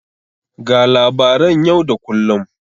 Ga labaran yau da kullun.